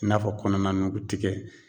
I n'a fɔ kɔnɔna nugutikɛ